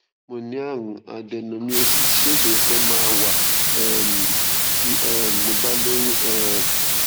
mo ní àrùn adenomyosis ṣé isoro kankan ma wa um ti um mo ba lóyún um